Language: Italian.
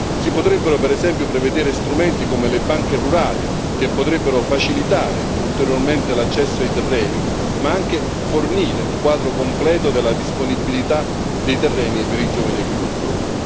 Si potrebbero per esempio prevedere strumenti come le banche rurali, che potrebbero facilitare ulteriormente l'accesso ai terreni, ma anche fornire un quadro completo della disponibilità dei terreni per i giovani agricoltori.